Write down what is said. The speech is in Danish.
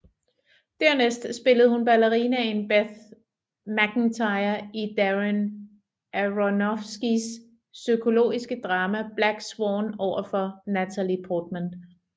Dernæst spillede hun ballerinaen Beth Macintyre i Darren Aronofskys psykologiske drama Black Swan overfor Natalie Portman